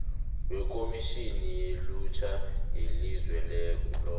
wekhomitjhini yelutjha yelizweloke